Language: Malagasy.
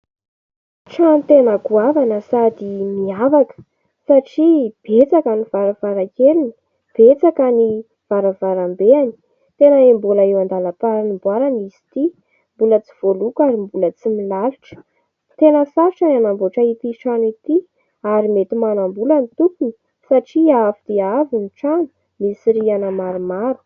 Trano tena goavana sady miavaka satria betsaka ny varavarankeliny, betsaka ny varavarambeny. Tena mbola eo an-dalam-panamboarana izy ity, mbola tsy voaloko ary mbola tsy milalotra. Tena sarotra ny hanamboatra itỳ trano itỳ ary mety manam-bola ny tompony satria avo dia avo ny trano, misy rihana maromaro.